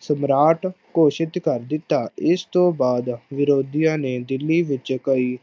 ਸਮਰਾਟ ਘੋਸ਼ਿਤ ਕਰ ਦਿੱਤਾ, ਇਸ ਤੋਂ ਬਾਅਦ ਵਿਰੋਧੀਆਂ ਨੇ ਦਿੱਲੀ ਵਿੱਚ ਕਈ